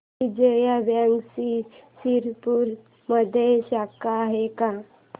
विजया बँकची शिरपूरमध्ये शाखा आहे का